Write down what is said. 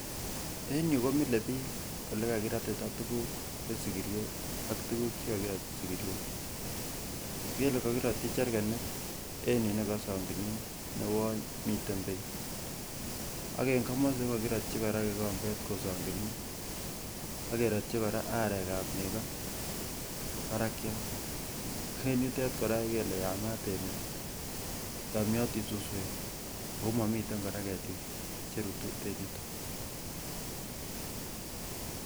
En yu komile piik ole kakiratita tuguk en sigiriet ak tuguk che kakiratyi sigiryet, kele kakiratyi jerkanit en yu ne kosanginin neuon miten beek, ak eng komosi ko kakirotyi kora kikombet kosonginin, akerotyi kora arekab nego parakiat, en yutet kora iker ile yamat emet, yomnyiotin suswek ako mamitei kora ketik che rutu en yuto.